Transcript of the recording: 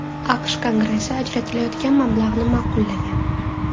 AQSh Kongressi ajratilayotgan mablag‘ni ma’qullagan.